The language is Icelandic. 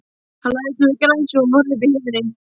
Hann lagðist nú í grasið og horfði uppí himininn.